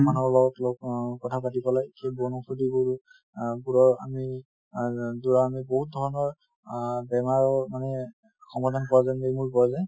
মানুহৰ লগত কিবা অহ কথা পাতি পালে সেই কৰি আহ ধৰা আমি আহ যোৱা বহুত ধৰণৰ আহ বেমাৰ মানে সমাধান পোৱা যায় পোৱা যায়